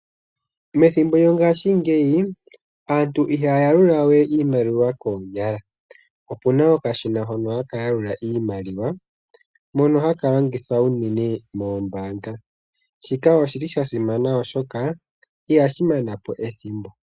Methimbo lyongaashi ngeyi, aantu ihaya yalula wee iimaliwa koonyala. Opuna okashina hono hakayalulua iimaliwa, mono hakalongwithwa uunene moombanga. Shika oshili shasimana oshoka ihashimanapo ethimbo